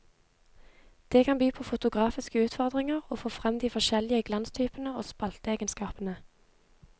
Det kan by på fotografiske utfordringer å få frem de forskjellige glanstypene og spalteegenskapene.